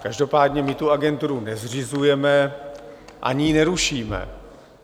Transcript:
Každopádně my tu agenturu nezřizujeme ani ji nerušíme.